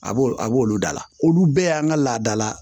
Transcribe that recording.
A b'o a b'olu dala olu bɛɛ y'an ka laada la